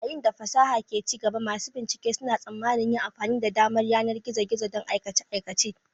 Yayin da fasaha ke ci gaba, masu bincike suna tsammanin yin amfani da damar yanar na gizo-gizo don aikace-aikacen